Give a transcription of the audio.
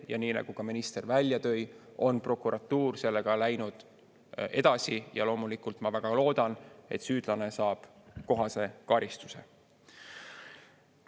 Ja nii nagu ka minister välja tõi, on prokuratuur sellega läinud edasi, ja loomulikult ma väga loodan, et süüdlane saab kohase karistuse.